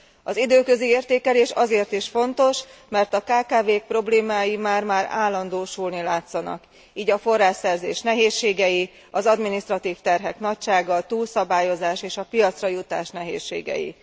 Az időközi értékelés azért is fontos, mert a kkv k problémái már már állandósulni látszanak így a forrásszerzés nehézségei, az adminisztratív terhek nagysága, a túlszabályozás, és a piacra jutás nehézségei.